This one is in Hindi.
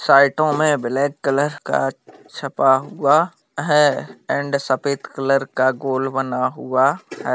साइटों ब्लैक कलर का छप्पा हुआ है एंड सफेद कलर का गोल बना हुआ है।